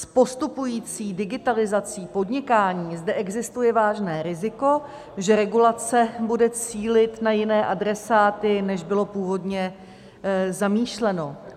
S postupující digitalizací podnikání zde existuje vážné riziko, že regulace bude cílit na jiné adresáty, než bylo původně zamýšleno.